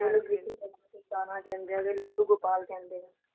ਕਾਨਹਾ ਕਹਿੰਦੇ ਨੇ ਲੱਡੂ ਗੋਪਾਲ ਕਹਿੰਦੇ ਨੇ।